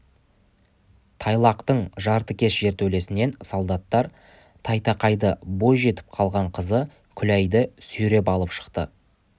тайлақтың жартыкеш жертөлесінен солдаттар тайтақайды бой жетіп қалған қызы күләйді сүйреп алып шықты